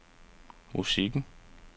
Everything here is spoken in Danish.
musikken